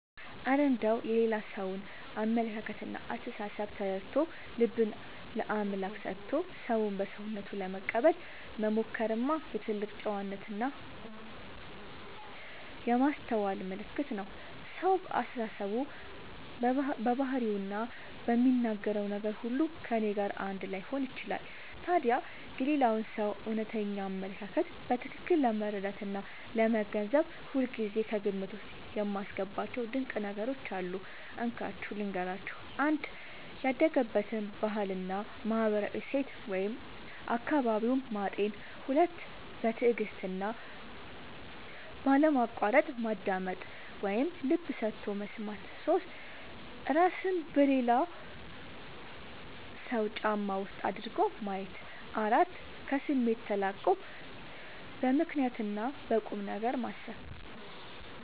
እረ እንደው የሌላ ሰውን አመለካከትና አስተሳሰብ ተረድቶ፣ ልብን ለአምላክ ሰጥቶ ሰውን በሰውነቱ ለመቀበል መሞከርማ የትልቅ ጨዋነትና የማስተዋል ምልክት ነው! ሰው በአስተሳሰቡ፣ በባህሪውና በሚናገረው ነገር ሁሉ ከእኔ ጋር አንድ ላይሆን ይችላል። ታዲያ የሌላውን ሰው እውነተኛ አመለካከት በትክክል ለመረዳትና ለመገንዘብ ሁልጊዜ ከግምት ውስጥ የማስገባቸው ድንቅ ነገሮች አሉ፤ እንካችሁ ልንገራችሁ - 1. ያደገበትን ባህልና ማህበራዊ እሴት (አካባቢውን) ማጤን 2. በትዕግስትና ባለማቋረጥ ማዳመጥ (ልብ ሰጥቶ መስማት) 3. እራስን በሌላው ሰው ጫማ ውስጥ አድርጎ ማየት 4. ከስሜት ተላቆ በምክንያትና በቁምነገር ማሰብ